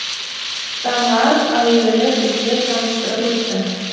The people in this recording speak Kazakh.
заңғар әуелі бізді таныстырып өтті